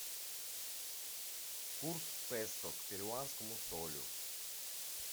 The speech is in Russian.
курс песо к перуанскому солю